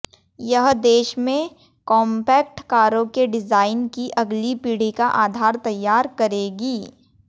यह देश में कांपैक्ट कारों के डिजायन की अगली पीढ़ी का आधार तैयार करेगी